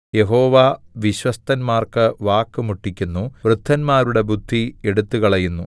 യഹോവ വിശ്വസ്തന്മാർക്ക് വാക്ക് മുട്ടിക്കുന്നു വൃദ്ധന്മാരുടെ ബുദ്ധി എടുത്തുകളയുന്നു